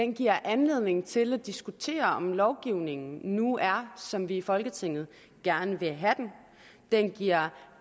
giver anledning til at diskutere om lovgivningen nu er som vi i folketinget gerne vil have den den giver